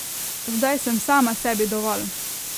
Zdaj sem sama sebi dovolj.